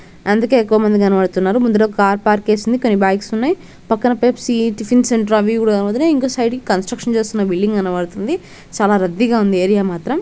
అందుకే ఎక్కువ మంది కనబడుతున్నారు. ముందర కార్ పార్క్ చేసి ఉంది కానీ బైక్స్ ఉన్నాయి పక్కన పెప్సీ టిఫిన్స్ అవి ఇవి కూడా కనబడుతున్నాయి ఇంకా సైడ్ కి కన్స్ట్రక్షన్ చేస్తున్న బిల్డింగ్ కనబడుతుంది చాలా రద్దీగా ఉంది ఏరియా మాత్రం.